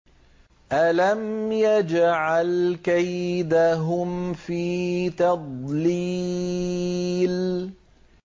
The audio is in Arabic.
أَلَمْ يَجْعَلْ كَيْدَهُمْ فِي تَضْلِيلٍ